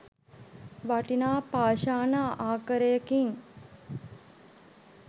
වටිනා පාෂාණ ආකරයකින්